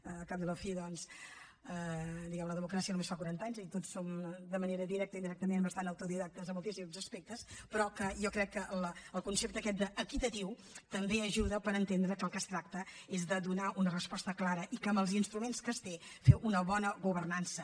al cap i a la fi doncs diguem ne de la democràcia només fa quaranta anys i tots som de manera directa o indirectament bastant autodidactes en moltíssims aspectes però jo crec que el concepte aquest d’ equitatiu també ajuda per entendre que del que es tracta és de donar una resposta clara i amb els instruments que es té fer una bona governança